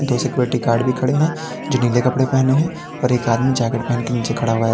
दो security guard भी खड़े हैं जो नीले कपड़े पहने हैं और एक आदमी जैकेट पहनके नीचे खड़ा हुआ है।